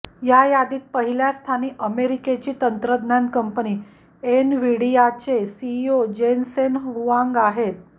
या यादीत पहिल्या स्थानी अमेरिकेची तंत्रज्ञान कंपनी एनव्हिडियाचे सीईओ जेनसेन हुआंग आहेत